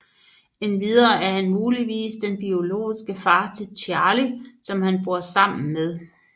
Endvidere er han muligvis den biologiske far til Charlie som han bor sammen med